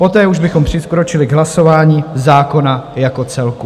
Poté už bychom přikročili k hlasování zákona jako celku.